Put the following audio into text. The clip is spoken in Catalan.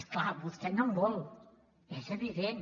és clar vostè no en vol és evident